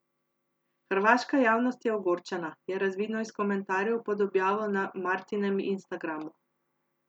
Hrvaška javnost je ogorčena, je razvidno iz komentarjev pod objavo na Martinem instagramu.